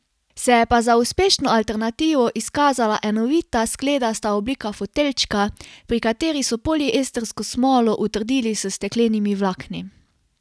Se je pa za uspešno alternativo izkazala enovita skledasta oblika foteljčka, pri kateri so poliestrsko smolo utrdili s steklenimi vlakni.